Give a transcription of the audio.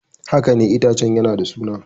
Haka ne, itacen yana da suna.